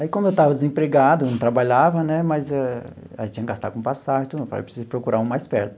Aí, como eu estava desempregado, não trabalhava né, mas a gente tinha que gastar com passagem e tudo, falei eu preciso procurar um mais perto.